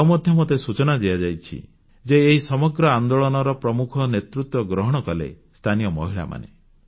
ଆଉ ମଧ୍ୟ ମୋତେ ସୂଚନା ଦିଆଯାଇଛି ଯେ ଏହି ସମଗ୍ର ଆନେ୍ଦାଳନର ପ୍ରମୁଖ ନେତୃତ୍ୱ ଗ୍ରହଣ କଲେ ସ୍ଥାନୀୟ ମହିଳାମାନେ